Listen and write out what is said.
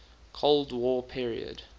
cold war period